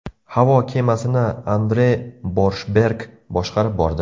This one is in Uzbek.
Havo kemasini Andre Borshberg boshqarib bordi.